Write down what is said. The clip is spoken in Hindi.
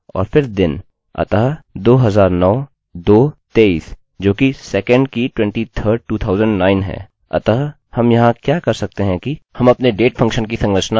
अतः हम यहाँ क्या कर सकते हैं कि हम अपने डेटdate फंक्शन की संरचना बड़े y m और फिर d में कर सकते हैं संरचना जैसी हमें चाहिए उसे पाने के लिए हम इसके बीच में योजक चिह्न का उपयोग कर सकते हैं